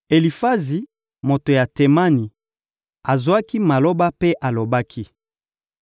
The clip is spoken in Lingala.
Elifazi, moto ya Temani, azwaki maloba mpe alobaki: